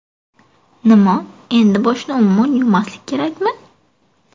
Nima, endi boshni umuman yuvmaslik kerakmi?